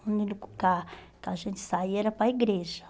O único lugar que a gente saía era para a igreja.